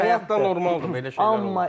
Həyat, həyatda normaldır belə şeylər.